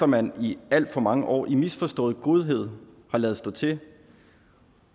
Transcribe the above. man i alt for mange år i misforstået godhed har ladet stå til